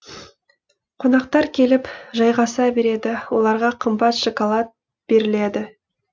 қонақтар келіп жайғаса береді оларға қымбат шоколад беріледі